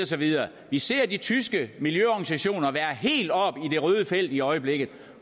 så videre vi ser de tyske miljøorganisationer være helt oppe i det røde felt i øjeblikket